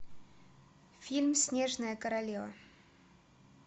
фильм снежная королева